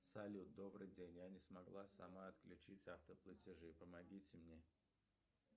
салют добрый день я не смогла сама отключить автоплатежи помогите мне